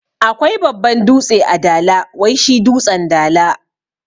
Akwai babban dutse a dala wai shi dutsen dala